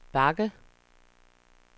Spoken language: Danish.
bakke